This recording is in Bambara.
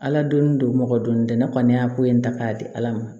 Ala donn don mɔgɔ donni tɛ ne kɔni y'a ko in ta k'a di ala ma